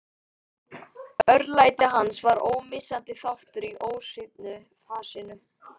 Örlæti hans var ómissandi þáttur í ósvífnu fasinu.